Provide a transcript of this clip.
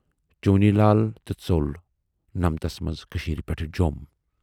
چونی ؔلال تہِ ژول نمتَس منز کٔشیٖرِ پٮ۪ٹھ جوم